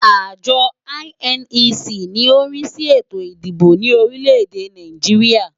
Àjọ INEC ni ó ń rí sí ètò ìdìbò ní orílẹ̀-èdè Nàìjíríà.